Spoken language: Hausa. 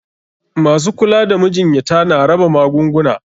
Masu kula da majinyata na raba magunguna.